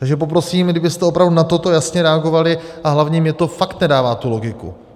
Takže poprosím, kdybyste opravdu na toto jasně reagovali, a hlavně mně to fakt nedává tu logiku.